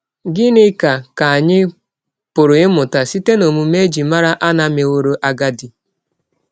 Gịnị ka ka anyị pụrụ ịmụta site n’ọmụme e ji mara Ana mewọrọ agadi?